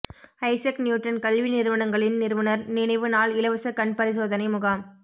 Isaac Newton கல்வி நிறுவனங்களின் நிறுவனர் நினைவு நாள் இலவச கண்பரிசோதனை முகாம்